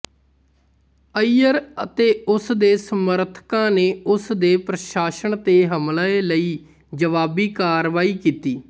ਅਈਅਰ ਅਤੇ ਉਸਦੇ ਸਮਰਥਕਾਂ ਨੇ ਉਸ ਦੇ ਪ੍ਰਸ਼ਾਸਨ ਤੇ ਹਮਲੇ ਲਈ ਜਵਾਬੀ ਕਾਰਵਾਈ ਕੀਤੀ